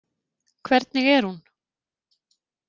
Hvernig er hún?